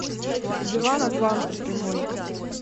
диван атланта прямой